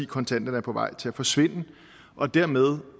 kontanterne er på vej til at forsvinde og dermed